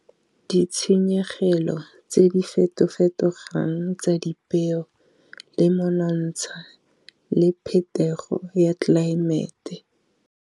Ditshenyegelo tse di feto-fetogang tsa dipeo, le monontsha le phetogo ya tlelaemete.